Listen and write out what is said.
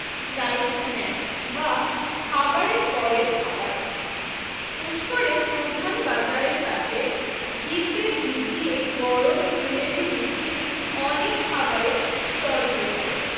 time snacks বা খাবারের পরের খাবার পুষ্করের প্রধান বাজারের কাছে ঘিতে ভিজিয়ে গরম জিলেবী বিক্রির অনেক খাবারের স্টল রয়েছে